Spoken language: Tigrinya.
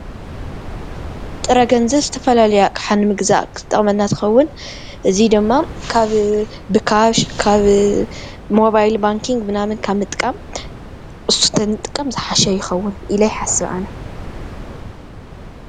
ጥረ ገንዘብ ዝተፈላለየ ኣቕሓ ንምግዛእ ዝጠቕመና እንትኸውን እዙይ ድማ ካብ ብካሽ ካብ ሞባይል ባንክንኪንግ መናምን ካብ ምጥቃም ብሱ ተንጥቀም ዝሓሸ ይኸውን ኢለ ይሓስብ አነ፡፡